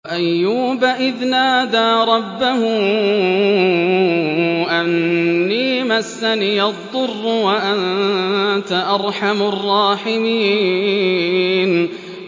۞ وَأَيُّوبَ إِذْ نَادَىٰ رَبَّهُ أَنِّي مَسَّنِيَ الضُّرُّ وَأَنتَ أَرْحَمُ الرَّاحِمِينَ